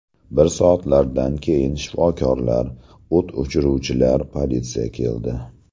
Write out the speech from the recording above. Bir soatlardan keyin shifokorlar, o‘t o‘chiruvchilar, politsiya keldi.